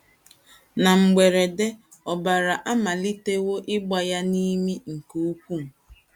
Na mberede, ọbara amalitewo ịgba ya n’imi nke ukwuu.